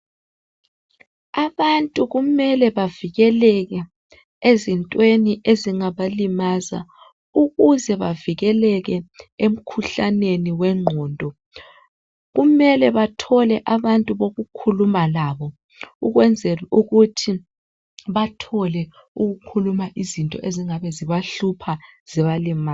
Abantu kumele bavikeleke ezintweni ezingabalimaza ukuze bavikeleke emikhuhlaneni wengqondo kumele bathole abantu bokukhuluma labo ukwenzela ukuthi bathole ukhuluma izinto ezingabe zibahlupha zibalimaza.